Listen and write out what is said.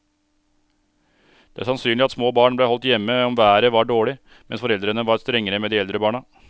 Det er sannsynlig at små barn ble holdt hjemme om været var dårlig, mens foreldrene var strengere med de eldre barna.